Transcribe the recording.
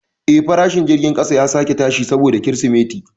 Eh, farashin jirgin kasa ya sake tashi saboda Kirsimeti.